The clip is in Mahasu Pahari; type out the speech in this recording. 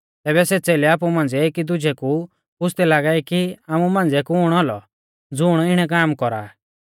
तैबै सै च़ेलै आपु मांझ़िऐ एकी दुजै कु पुछ़दै लागै कि आमु मांझ़िऐ कुण औलौ ज़ुण इणै काम कौरा